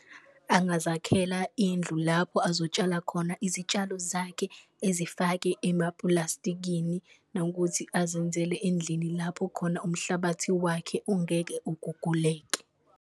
Angazakhela indlu lapho azotshala khona izitshalo zakhe ezifake emapulastikini, nokuthi azenzele endlini lapho khona umhlabathi wakhe ungeke uguguleke.